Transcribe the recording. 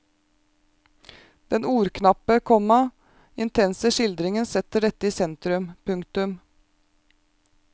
Den ordknappe, komma intense skildringen setter dette i sentrum. punktum